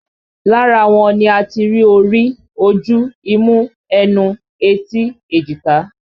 Lára wọn ni a ti rí orí, ojú, imú, ẹnu, etí, èjìká